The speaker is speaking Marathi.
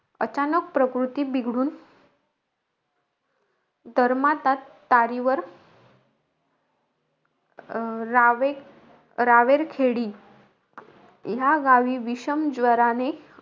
अचानक प्रकृति बिघडून, डर्माटात तारीवर अं रावे रावेरखेडी, या गावी, विषमज्वराने अचानक प्रकृति बिघडून,